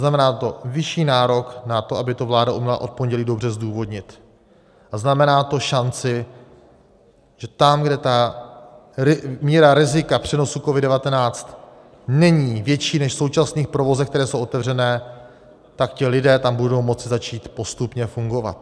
Znamená to vyšší nárok na to, aby to vláda uměla od pondělí dobře zdůvodnit, a znamená to šanci, že tam, kde míra rizika přenosu COVID-19 není větší než v současných provozech, které jsou otevřené, tak ti lidé tam budou moci začít postupně fungovat.